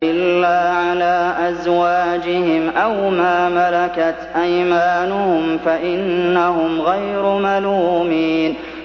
إِلَّا عَلَىٰ أَزْوَاجِهِمْ أَوْ مَا مَلَكَتْ أَيْمَانُهُمْ فَإِنَّهُمْ غَيْرُ مَلُومِينَ